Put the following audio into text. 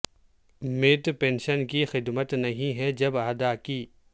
میت پنشن کی خدمت نہیں ہے جب ادا کی